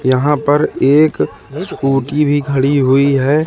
यहां पर एक स्कूटी भी खड़ी हुई है।